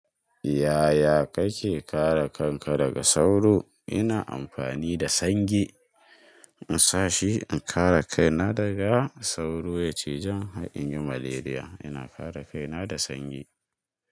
Ya ya kake kare kanka daga sauro? Ina amfani da sange, in sa shi in kare kaina daga sauro, ya ci jan har in yi malariya. Ina kare kaina da sanyi.